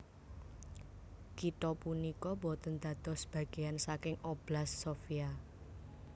Kitha punika boten dados bagéan saking Oblast Sofia